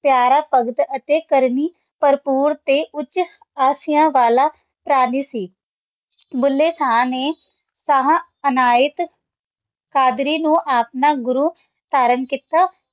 ਪਯਾਰਾ ਭਗਤ ਅਤੀ ਕਰਨੀ ਭੁਰ੍ਪੂਰ ਅਤੀ ਉਚ ਆਸਿਯਾਨ ਵਾਲਾ ਪਰਾਨੀ ਸੀ ਭੁੱਲੇ ਸ਼ਾਹ ਨੇ ਸ਼ਾਹ ਅਨਾਯਤ ਕਾਦਰੀ ਨੂ ਆਪਣਾ ਗੁਰੂ ਧਾਰਨ ਕੀਤਾ ਤੇ